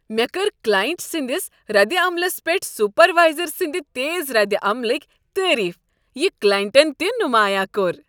مےٚ کٔرۍ کلاینٛٹ سٕنٛدس ردِ عملس پیٹھ سپروایزر سٕنٛد تیز ردعملٕکۍ تعریف، یہ کلائنٹن تہ نمایاں کوٚر۔